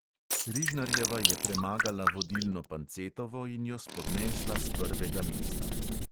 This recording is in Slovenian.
Rižnarjeva je premagala vodilno pancetovo in jo spodnesla s prvega mesta.